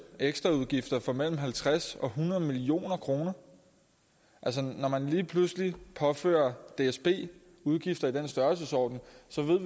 ekstraudgifter for mellem halvtreds million og hundrede million kroner altså når man lige pludselig påfører dsb udgifter i den størrelsesorden